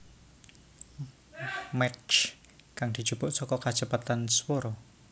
Mach kang dijupuk saka kacepetan swara